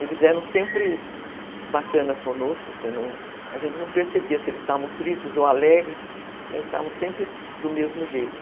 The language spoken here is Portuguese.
Eles eram sempre bacanas conosco, a gente não percebia se eles estavam tristes ou alegres, estavam sempre do mesmo jeito.